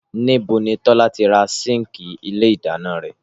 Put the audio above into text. Níbo ni Tọ́lá ti ra síǹkì ilé ìdáná rẹ̀?